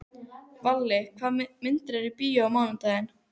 Valli, hvaða myndir eru í bíó á mánudaginn?